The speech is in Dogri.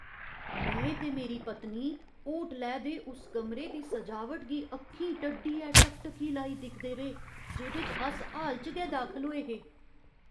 में ते मेरी पत्नी होटलै दे उस कमरे दी सजावट गी अक्खीं टड्डियै टकटकी लाई दिखदे रेह्, जेह्‌दे च अस हाल च गै दाखल होए हे।